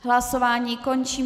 Hlasování končím.